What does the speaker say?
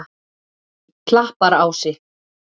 Klapparási